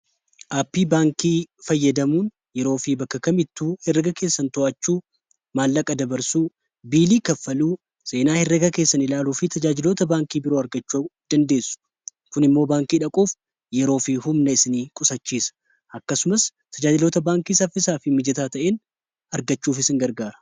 aappii baankii fayyadamuun yeroo fi bakka kamittuu heraga keessan to'achuu maallaqa dabarsuu biilii kaffaluu seenaa heraga keessan ilaaluu fi tajaajilota baankii biroo argachuu dandeessu kun immoo baankii dhaquuf yeroo fi humna isin qusachiisa akkasumas tajaajilota baankii saffisaafii mijataa ta'in argachuuf isin gargaara